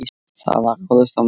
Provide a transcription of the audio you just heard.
Það var ráðist á mig.